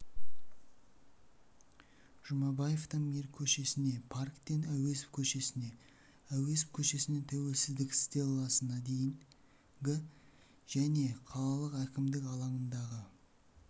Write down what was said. жұмабаевтан мир көшесіне парктен әуезов көшесіне әуезов көшесінен тәуелсіздік стелласына дейінгі және қалалық әкімдік алаңындағы